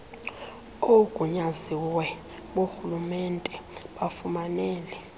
oogunyaziwe borhulumente bafumanele